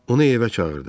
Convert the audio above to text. Onu evə çağırdı.